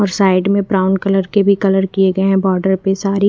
और साइड में brown colour के भी कलर किये गये है बॉर्डर पे सारी।